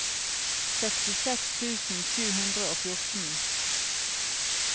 sekstiseks tusen sju hundre og fjorten